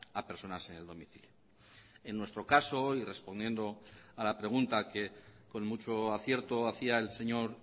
a personas en el domicilio en nuestro caso y respondiendo a la pregunta que con mucho acierto hacía el señor